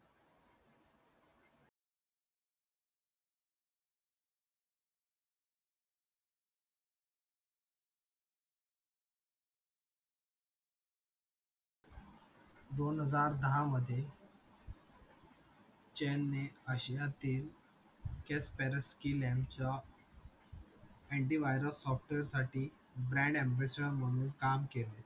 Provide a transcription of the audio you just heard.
दोन हजार दहा मधे chan ने ashiya तील anti virus software साठी grand ambattur म्हणून काम केल